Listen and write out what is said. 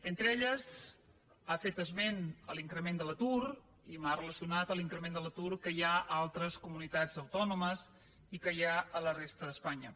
entre elles ha fet esment de l’increment de l’atur i m’ha relacionat l’increment de l’atur que hi ha a altres comunitats autònomes i que hi ha a la resta d’espanya